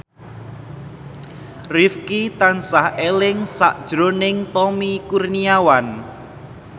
Rifqi tansah eling sakjroning Tommy Kurniawan